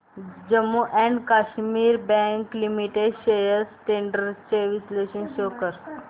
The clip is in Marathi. Jammu and Kashmir bank limited shares trends चे विश्लेषण शो कर